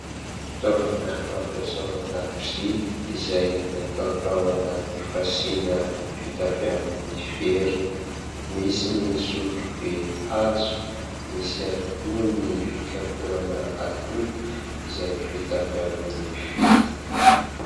Fitaovana fampiasa ao an-dakozia, izay natao tao anaty fasiana vita avy amin'ny vera; misy ny sotrobe hazo misy ihany koa ny fikapohana atody izay vita avy amin'ny vy.